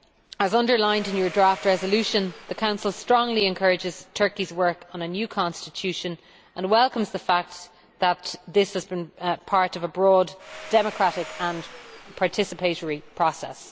As underlined in your draft resolution, the Council strongly encourages Turkey's work on a new constitution and welcomes the fact that this has been part of a broad, democratic and participatory process.